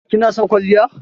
Ki na son kwalliya?